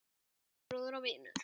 Kæri bróðir og vinur.